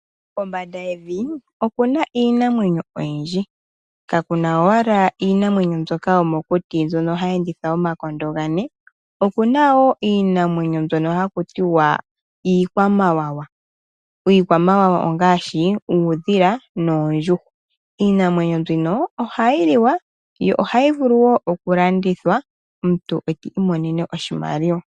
Kombanga yevi okuna Iinamwenyo oyindji kakuna owala Iinamwenyo mbyoka yomokuti mbyono hayi enditha omakondo ngane, okunawo Iinamwenyo mbyono hakutiwa iikwamawawa, iikwamawawa ongashi uudhila noondjuhwa Iinamwenyo mbika ohayiliwa yo ohayivulu wo okulandithwa omuntu ekimonene oshimaliwa.